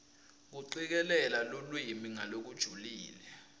kucikelela lulwimi ngalokujulile